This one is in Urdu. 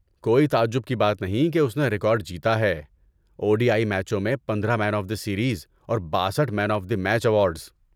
کوئی تعجب کی بات نہیں کہ اس نے ریکارڈ جیتا ہے، او ڈی آئی میچوں میں پندرہ مین آف دی سیریز اور باسٹھ man of the match awards